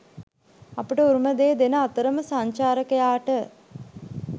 අපට උරුම දේ දෙන අතරම සංචාරකයාට